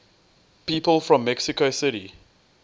people from mexico city